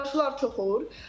Yağışlar çox olur.